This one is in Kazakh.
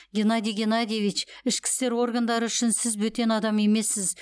геннадий геннадьевич ішкі істер органдары үшін сіз бөтен адам емессіз